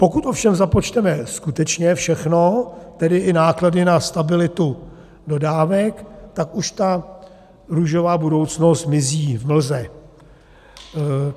Pokud ovšem započteme skutečně všechno, tedy i náklady na stabilitu dodávek, tak už ta růžová budoucnost mizí v mlze.